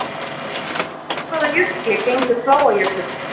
Úr hvaða jökli gengur Fláajökull?